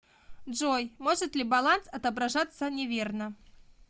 джой может ли баланс отображаться неверно